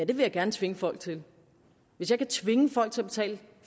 vil jeg gerne tvinge folk til det hvis jeg kan tvinge folk til at betale